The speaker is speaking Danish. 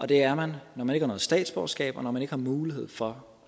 det er man når man ikke har noget statsborgerskab og når man ikke har mulighed for